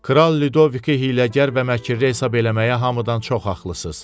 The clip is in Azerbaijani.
Kral Ludoviki hiləgər və məkrli hesab eləməyə hamıdan çox haqlısız.